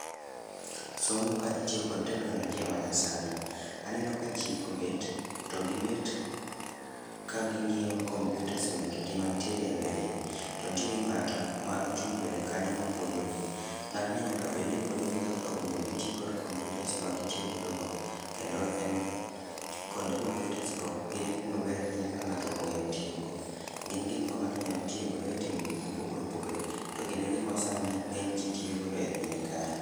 Somo ka itiyo kod teknolojia ma nyasani. Aneno ka jii obet, to gibet ka ging'iyo kompiutas mekgi mantiere e mbele gi. To nitiere ng'ato ma ochung' mbele kanyo mapuonjogi. Ng'atni nyaka bedni puonjogi kaka owinjo giti kod kompiutas ma gitiyo godo go, kendo en konde kompiutas go gin gik maber ahinya ka ng'ato ong'eyo tiyo go. Gin gik ma ng'ato nyalo tiyo godo e timo gik mopogore opogore to gin e gik ma sani ng'eny ji tiyo godo e piny kae